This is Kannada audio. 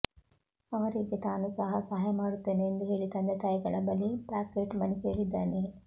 ಅವರಿಗೆ ತಾನು ಸಹ ಸಹಾಯ ಮಾಡುತ್ತೇನೆ ಎಂದು ಹೇಳಿ ತಂದೆ ತಾಯಿಗಳ ಬಳಿ ಪಾಕೇಟ್ ಮನಿ ಕೇಳಿದ್ದಾನೆ